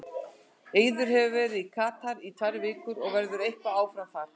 Eiður hefur verið í Katar í tvær vikur og verður eitthvað áfram þar.